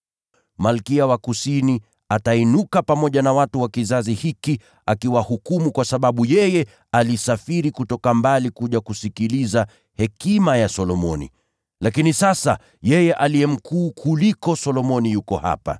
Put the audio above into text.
Malkia wa Kusini atasimama wakati wa hukumu na kuwahukumu watu wa kizazi hiki. Kwa kuwa yeye alikuja kutoka miisho ya dunia ili kuisikiliza hekima ya Solomoni. Na hapa yupo aliye mkuu kuliko Solomoni.